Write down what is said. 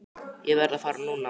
Ég verð að fara núna!